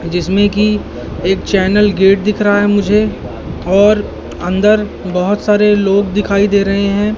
जिसमें कि एक चैनल गेट दिख रहा है मुझे और अंदर बहुत सारे लोग दिखाई दे रहे हैं।